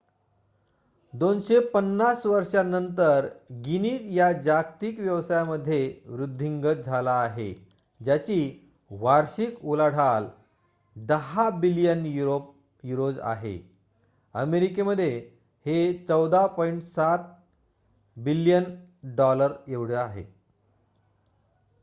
250 वर्षानंतर गिनीज या जागतिक व्यवसायामध्ये वृद्धिंगत झाला आहे ज्याची वार्षिक उलाढाल 10 बिलियन युरोज आहे. American $14.7 billion